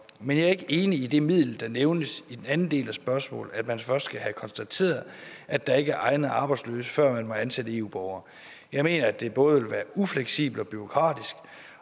men jeg er ikke enig i det middel der nævnes i den anden del af spørgsmålet nemlig at man først skal have konstateret at der ikke er egnede arbejdsløse før man må ansætte eu borgere jeg mener at det både vil være ufleksibelt og bureaukratisk